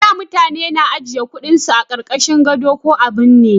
Da mutane na ajiye kudin su a karkashin gado ko a binne